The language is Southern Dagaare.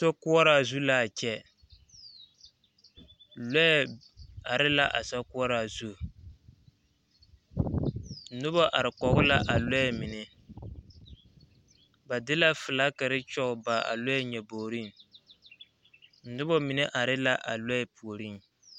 Tokoɔraa zu laa kyɛ lɔɛ are la a sokoɔraa zu nobɔ are kɔge la a lɔɛ mine ba de la filagkiri kyɔg eŋ a lɔɛ nyɔboorŋ poɔ nobɔ mine are la a lɔɛ puorŋ.